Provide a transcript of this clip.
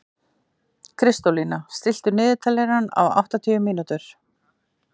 Kristólína, stilltu niðurteljara á áttatíu mínútur.